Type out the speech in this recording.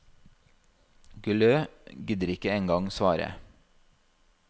Guillou gidder ikke engang svare.